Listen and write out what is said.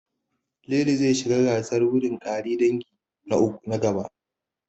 Lili zai shiga gasar gudun ƙare dangi, na gaba.